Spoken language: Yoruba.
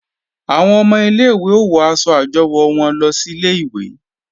Àwọn ọmọ ilé-ìwé ó wọ aṣọ àjọwò wọn lọ sílé ìwé